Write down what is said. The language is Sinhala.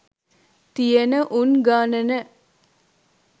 තියන උන් ගණන